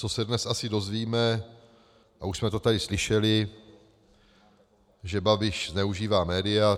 Co se dnes asi dozvíme, a už jsme to tady slyšeli, že Babiš zneužívá média.